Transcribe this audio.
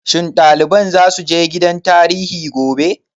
Shin ɗaliban za su je gidan tarihi gobe?